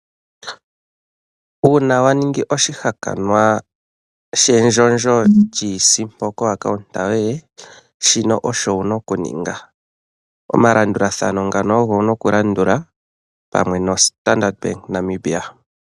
Uuna wa ningi oshi hakanwa shendjondjo lyiisimpo komayalulo goye gombaanga, shino osho wu n aokuninga. Oma landulathano ngano ogo wu na okulandula pamwe noStandard Bank Namibia.